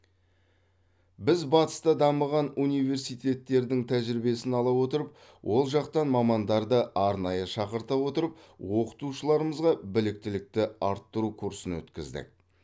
біз батыста дамыған университеттердің тәжірибесін ала отырып ол жақтан мамандарды арнайы шақырта отырып оқытушыларымызға біліктілікті арттыру курсын өткіздік